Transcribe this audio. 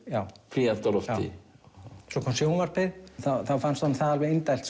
já svo kom sjónvarpið þá fannst honum það alveg indælt